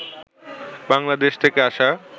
বাংলাদেশ থেকে আসা